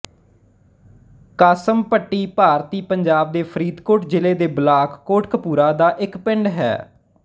ਕਾਸਮਭੱਟੀ ਭਾਰਤੀ ਪੰਜਾਬ ਦੇ ਫ਼ਰੀਦਕੋਟ ਜ਼ਿਲ੍ਹੇ ਦੇ ਬਲਾਕ ਕੋਟਕਪੂਰਾ ਦਾ ਇੱਕ ਪਿੰਡ ਹੈ